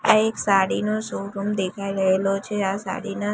આ એક સાડી નો શોરૂમ દેખાઈ રહેલો છે આ સાડીના--